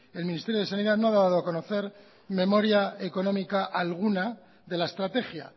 el ministerio de sanidad no ha dado a conocer memoria económica alguna de la estrategia